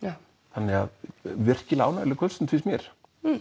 þannig að virkilega ánægjuleg kvöldstund finnst mér